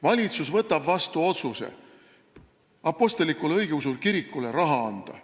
Valitsus võtab vastu otsuse apostlikule õigeusu kirikule raha anda.